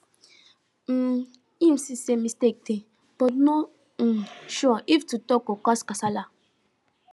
um him see say mistake dey but no um sure if to talk go cause casala